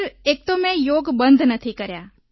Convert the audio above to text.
sir એક તો મેં યોગ બંધ નથી કર્યા